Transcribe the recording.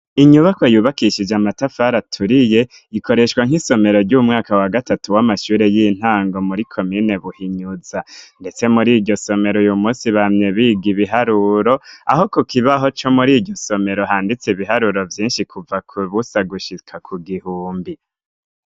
Inyubakwa yubakishije amatafari aturiye ikoreshwa nk'isomero ry'umwaka wa gatatu w'amashure y'intango muri komine buhinyuza, ndetse muriryo somero uyu munsi bamye biga ibiharuro, aho ku kibaho co muri ijyo somero handitse ibiharuro byinshi kuva ku busa gushika ku gihumbi.